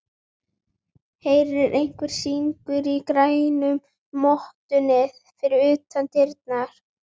Heyrir hvernig syngur í grænu mottunni fyrir utan dyrnar.